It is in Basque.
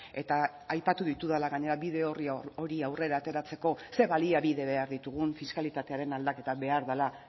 eta aipatu ditudala gainera bide orri hori aurrera ateratzeko ze baliabide behar ditugun fiskalitatearen aldaketa behar dela